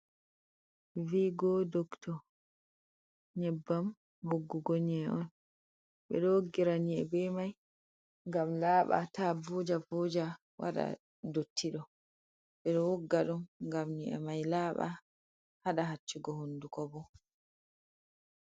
Vi go dokto nyebbam woggugo nye'i on ɓeɗo woggira ni’e ɓe mai ngam laaba ta voja voja waɗa dottido ɓeɗo wugga ɗum ngam nyi’e mai laaba haɗa hacchugo hunduko bo.